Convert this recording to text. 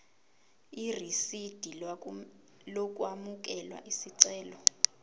irisidi lokwamukela isicelo